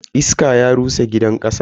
Iska ya rusa gidan kasan.